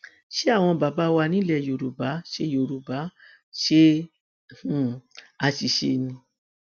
ṣé àwọn bàbá wa nílẹ yorùbá ṣe yorùbá ṣe um àṣìṣe ni